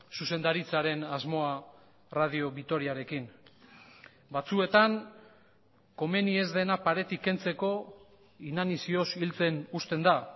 zuzendaritzaren asmoa radio vitoriarekin batzuetan komeni ez dena paretik kentzeko inanizioz hiltzen uzten da